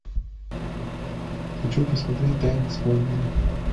хочу посмотреть тайны смолвиля